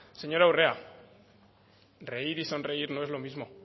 señora urrea reír y sonreír no es lo mismo